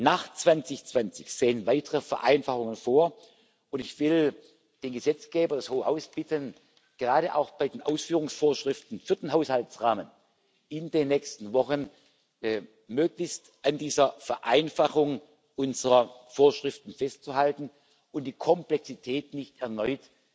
nach 2020 sehen weitere Vereinfachungen vor, und ich will den Gesetzgeber, das Hohe Haus, bitten, gerade auch bei den Ausführungsvorschriften für den Haushaltsrahmen in den nächsten Wochen möglichst an dieser Vereinfachung unserer Vorschriften festzuhalten und die Komplexität nicht erneut